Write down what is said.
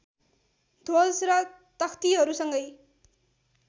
ध्वज र तख्तिहरूसँगै